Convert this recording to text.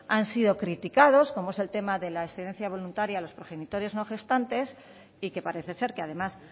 han sido criticados como es el tema de la excedencia voluntaria a los progenitores no gestantes y que parece ser que además